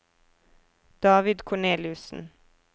David Korneliussen